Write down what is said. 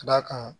Ka d'a kan